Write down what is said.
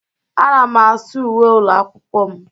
Ana m asụ uwe ụlọ akwụkwọ m.